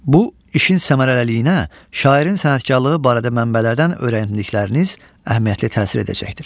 Bu, işin səmərəliliyinə, şairin sənətkarlığı barədə mənbələrdən öyrəndikləriniz əhəmiyyətli təsir edəcəkdir.